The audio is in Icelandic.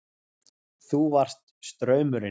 Þú varst straumurinn.